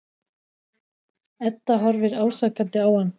Edda horfir ásakandi á hann.